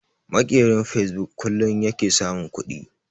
Maƙerin fasebuk kullun yake samun kuɗi